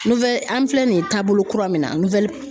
an filɛ nin taabolo kura min na